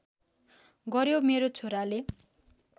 गर्‍यो मेरो छोराले